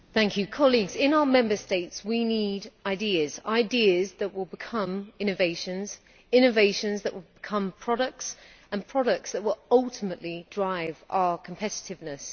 Mr President, in our Member States we need ideas, ideas that will become innovations, innovations that will become products and products that will ultimately drive our competitiveness.